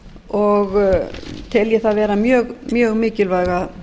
og tel ég það vera mjög mikilvæga